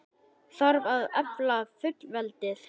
Þarf að efla fullveldið?